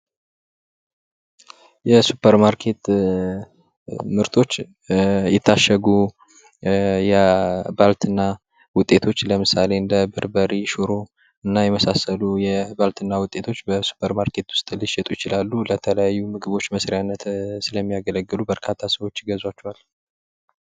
የሱፐርማርኬት ምርቶች የታሸጉ የባልትና ዉጤቶች ለምሳሌ እንደ በርበሬ ሽሮ እና የመሳሰሉ የባልትና ዉጤቶች በሱፐርማርኬት ዉስጥ ሊሸጡ ይችላሉ። ለተለያዩ ምግቦች መስሪያነት ስለሚያገለግሉ በርካታ ሰዎች ይገዟቸዋል።